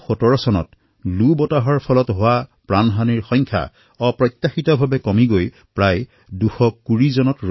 ২০১৭ত লু ৰ দ্বাৰা মৃত্যু হোৱা পৰিঘটনা অপ্ৰত্যাশিতভাৱে হ্ৰাস হৈ প্ৰায় ২২০ লৈ আহি গৈছে